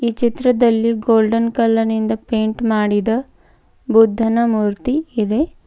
ಈ ಚಿತ್ರದಲ್ಲಿ ಗೋಲ್ಡನ್ ಕಲರ್ನಿಂದ ಪೈಂಟ್ ಮಾಡಿದ ಬುಧ್ದನ ಮೂರ್ತಿ ಇದೆ.